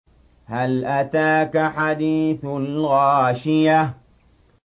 هَلْ أَتَاكَ حَدِيثُ الْغَاشِيَةِ